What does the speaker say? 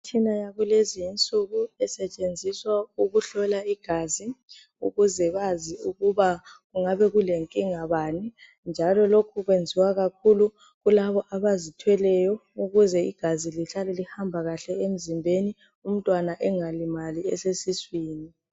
Imitshina yakulezinsuku esetshenziswa ukuhlola igazi ukuze bazi ukuba kungabe kulenkinga bani. Njalo lokhu kwenziwa kakhulu kulabo abazithweleyo ukuze igazi lihlale lihamba kahle emzimbeni, umntwana engalimali esesiswini.